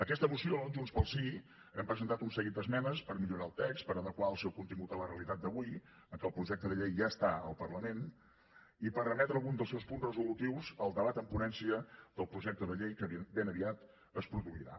a aquesta moció junts pel sí hem presentat un seguit d’esmenes per millorar el text per adequar el seu contingut a la realitat d’avui que el projecte de llei ja està al parlament i per remetre algun dels seus punts resolutius al debat en ponència del projecte de llei que ben aviat es produirà